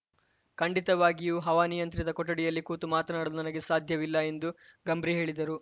ಖಂಡಿತವಾಗಿಯೂ ಹವಾನಿಯಂತ್ರಿತ ಕೊಠಡಿಯಲ್ಲಿ ಕೂತು ಮಾತನಾಡಲು ನನಗೆ ಸಾಧ್ಯವಿಲ್ಲ ಎಂದು ಗಂಬ್ರಿ ಹೇಳಿದರು